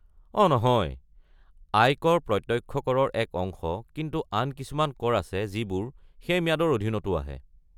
অ' নহয়, আয় কৰ প্ৰত্যক্ষ কৰৰ এক অংশ, কিন্তু আন কিছুমান কৰ আছে যিবোৰ সেই ম্যাদৰ অধীনতো আহে।